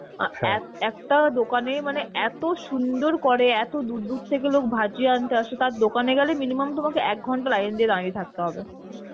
একটা দোকানে মানে এত সুন্দর করে এত দূর দূর থেকে লোক ভাজিয়া আনতে আসে তার দোকানে গেলে minimum তোমাকে এক ঘন্টা line দিয়ে দাঁড়িয়ে থাকতে হবে